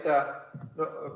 Aitäh!